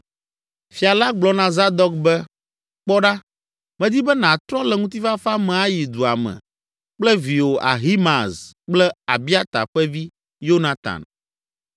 Fia la gblɔ na Zadok be, “Kpɔ ɖa, medi be nàtrɔ le ŋutifafa me ayi dua me kple viwò Ahimaaz kple Abiata ƒe vi, Yonatan.